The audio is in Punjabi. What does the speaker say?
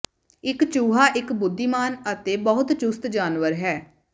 ਇੱਕ ਚੂਹਾ ਇੱਕ ਬੁੱਧੀਮਾਨ ਅਤੇ ਬਹੁਤ ਚੁਸਤ ਜਾਨਵਰ ਹੈ